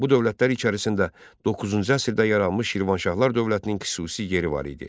Bu dövlətlər içərisində doqquzuncu əsrdə yaranmış Şirvanşahlar dövlətinin xüsusi yeri var idi.